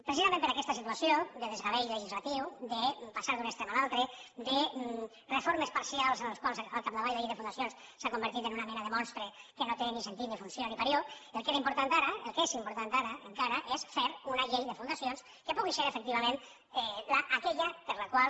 precisament per aquesta situació de desgavell legislatiu de passar d’un extrem a l’altre de reformes parcials en les quals al capdavall la llei de fundacions s’ha convertit en una mena de monstre que no té ni sentit ni funció ni parió el que era important ara el que és important ara encara és fer una llei de fundacions que pugui ser efectivament aquella per la qual